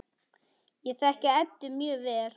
Ég þekki Eddu mjög vel.